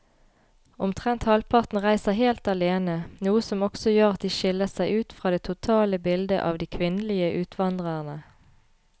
Omtrent halvparten reiser helt alene, noe som også gjør at de skiller seg ut fra det totale bildet av de kvinnelige utvandrerne.